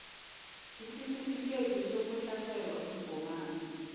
isitifikhethi sokuhlatjelwa umgomani